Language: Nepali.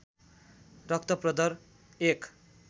रक्त प्रदर एक